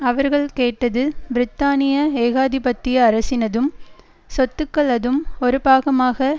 அவர்கள் கேட்டது பிரித்தானிய ஏகாதிபத்திய அரசினதும் சொத்துக்களதும் ஒரு பாகமாக